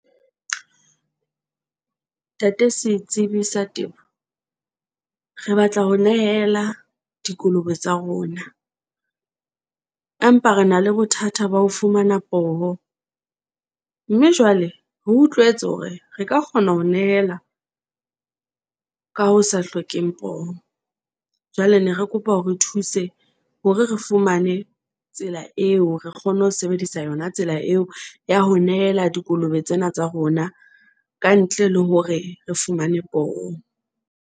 Ntate Setsibi sa Temo, re batla ho nehela dikolobe tsa rona, empa re na le bothata ba ho fumana poho, mme jwale re utlwetse hore re ka kgona ho nehela ka ho sa hlokeng poho. Jwale ne re kopa o re thuse hore re re fumane tsela eo re kgone ho sebedisa yona tsela eo ya ho nehela dikolobe tsena tsa rona ka ntle le hore re fumane poho.